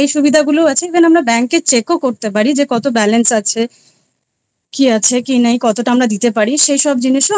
এই সুবিধা গুলো আছে even আমরা bank এ check ও করতে পারি যে কত balance আছে কি আছে কি নেই কতটা আমরা দিতে পারি সেই সব জিনিসেও